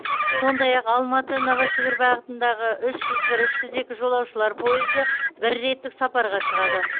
сондай ақ алматы новосібір бағытындағы үш жүз бір үш жүз екі жолаушылар пойызы бір реттік сапарға шығады